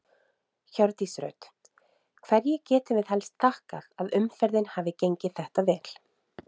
Hjördís Rut: Hverju getum við helst þakkað að umferðin hafi gengið þetta vel?